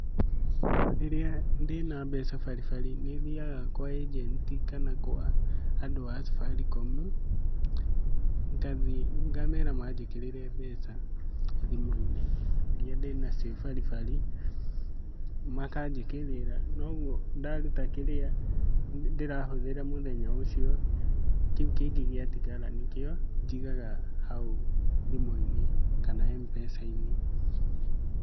Rĩrĩa ndĩna mbeca baribari nĩ thiaga kwa agent kana kwa andũ a Safaricom, ngathiĩ ngamera manjĩkirĩre mbeca thimũ-inĩ iria ndĩnacio baribari, makajĩkĩrĩra na ũguo kĩrĩa ndĩrahũthĩra mũthenya ucio, kĩu kĩngĩ gĩatigara nĩkíũo njigaga hau thimũ-inĩ kana M-Pesa-inĩ .